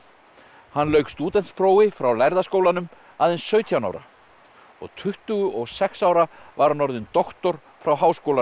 hann lauk stúdentsprófi frá lærða skólanum aðeins sautján ára og tuttugu og sex ára var hann orðinn doktor frá Háskólanum